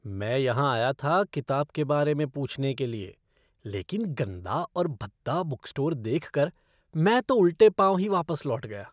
मैं यहाँ आया था किताब के बारे में पूछने के लिए, लेकिन गंदा और भद्दा बुक स्टोर देखकर, मैं तो उल्टे पाँव ही वापस लौट गया।